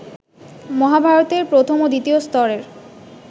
মহাভারতের প্রথম ও দ্বিতীয় স্তরের